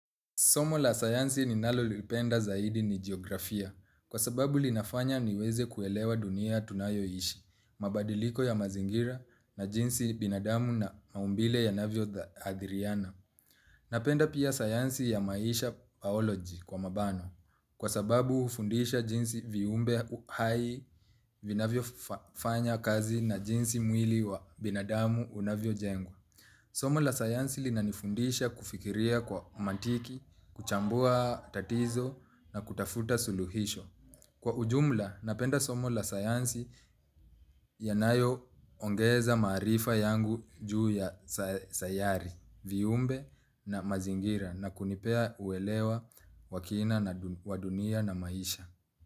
Somo la sayansi ninalolipenda zaidi ni jiografia kwa sababu linafanya niweze kuelewa dunia tunayoishi mabadiliko ya mazingira na jinsi binadamu na maumbile yanavyo dha adhiriana. Napenda pia sayansi ya maisha baoloji kwa mabano kwa sababu hufundisha jinsi viumbe hai vinavyofa fanya kazi na jinsi mwili wa binadamu unavyojengwa. Somo la sayansi linanifundisha kufikiria kwa maantiki, kuchambua tatizo na kutafuta suluhisho. Kwa ujumla, napenda somo la sayansi yanayoongeza maarifa yangu juu ya sayari, viumbe na mazingira na kunipea uelewa wa kina na wa dunia na maisha.